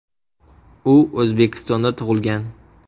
U O‘zbekistonda tug‘ilgan.